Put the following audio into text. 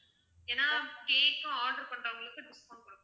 ஏன்னா cake உம் order பண்றவங்களுக்கு discount கொடுப்போம்